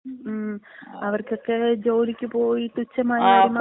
മ്, അവർക്കക്കെ ജോലിക്ക് പോയി തുച്ഛമായ വരുമാനം...